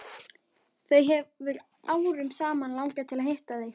Þau hefur árum saman langað til að hitta þig.